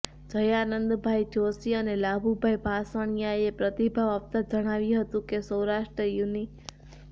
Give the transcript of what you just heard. જયાનંદભાઇ જોશી અને લાભુભાઇ ભાંસળીયાએ પ્રતિભાવ આપતા જણાવ્યુ હતું કે સૌરાષ્ટ્ર યુનિ